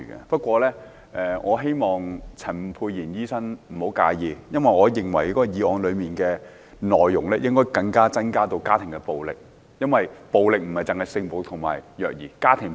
不過，我希望陳沛然醫生不要介意，我認為議案內容應納入家庭暴力，因為暴力問題涵蓋性暴力、虐兒及家庭暴力。